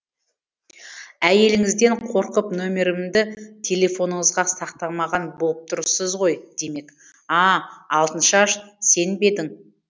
әйеліңізден қорқып нөмірімді телефоныңызға сақтамаған боп тұрсыз ғой демек а а алтыншаш сен бе едің